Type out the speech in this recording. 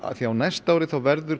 því á næsta ári verður